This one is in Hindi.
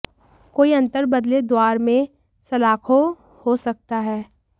कोई अंतर बदलें द्वार में सलाखों हो सकता है